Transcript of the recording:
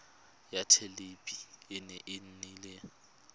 ya thelebi ene e neela